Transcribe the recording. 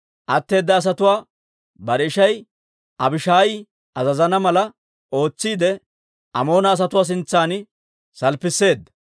Atteeda asatuwaa bare ishay Abishaayi azazana mala ootsiide, Amoona asatuwaa sintsan salppisseedda.